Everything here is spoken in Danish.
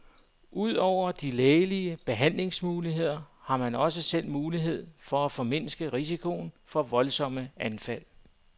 Udover de lægelige behandlingsmuligheder, har man også selv mulighed for at formindske risikoen for voldsomme anfald.